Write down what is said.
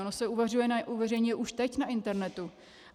Ono se uveřejňuje už teď na internetu.